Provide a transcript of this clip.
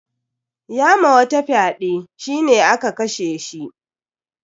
Ya ma wata fyaɗe, shi ne aka kashe shi.